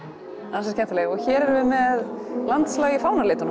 ansi skemmtileg og hér erum við með landslag í fánalitunum